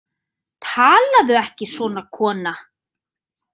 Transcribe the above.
Talaðu ekki svona, kona!